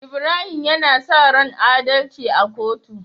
Ibrahim yAna saran adalci a kotu